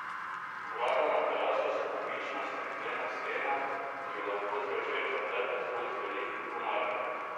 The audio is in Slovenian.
Vrata na teraso so pomična steklena stena, ki jo lahko zvečer zaprete zgolj z velikim komarnikom.